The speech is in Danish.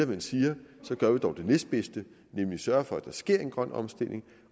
man siger at så gør vi dog det næstbedste nemlig sørger for at der sker en grøn omstilling